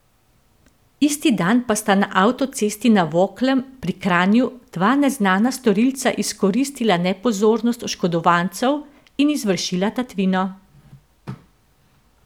Isti dan pa sta na avtocesti na Voklem pri Kranju dva neznana storilca izkoristila nepozornost oškodovancev in izvršila tatvino.